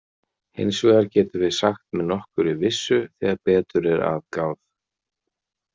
Hins vegar getum við sagt með nokkurri vissu þegar betur er að gáð.